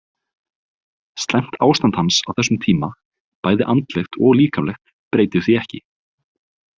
Slæmt ástand hans á þessum tíma, bæði andlegt og líkamlegt, breytir því ekki.